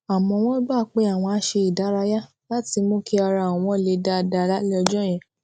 àmó wón gbà pé àwọn á ṣe ìdárayá láti mú kí ara àwọn le dáadáa lálé ọjó yẹn